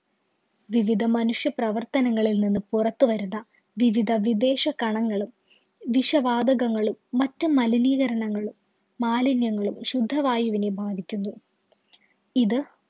വിവിധ മനുഷ്യ പ്രവര്‍ത്തനങ്ങളില്‍ നിന്ന് പുറത്തു വരുന്ന വിവിധ വിദേശകണങ്ങളും, വിഷ വാതകങ്ങളും, മറ്റു മലിനീകരണങ്ങളും, മാലിന്യങ്ങളും ശുദ്ധവായുവിനെ ബാധിക്കുന്നു. ഇത്